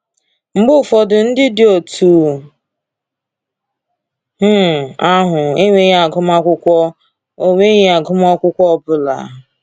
Mgbe ụfọdụ, ndị dị otú um ahụ enweghị agụmakwụkwọ ọ enweghị agụmakwụkwọ ọ bụla.